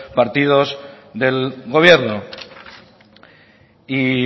partidos del gobierno y